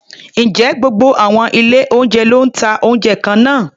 Ǹjẹ́ gbogbo àwọn ilé-oúnjẹ ló ń ta oúnjẹ kan náà?